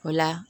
O la